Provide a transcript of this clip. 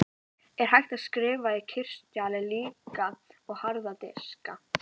Er hægt að skrifa á kristalla líkt og harða diska?